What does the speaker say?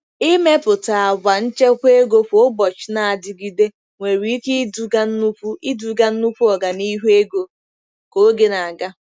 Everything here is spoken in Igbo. Ịmepụta àgwà nchekwa ego kwa ụbọchị na-adịgide nwere ike iduga nnukwu iduga nnukwu ọganihu ego ka oge na-aga.